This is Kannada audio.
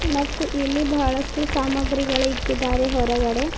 ಮತ್ತು ಇಲ್ಲಿ ಬಹಳಷ್ಟು ಸಾಮಗ್ರಿಗಳು ಇಕ್ಕಿದ್ದಾರೆ ಹೊರಗಡೆ--